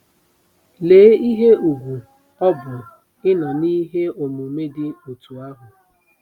Lee ihe ùgwù ọ bụ ịnọ n'ihe omume dị otú ahụ! ”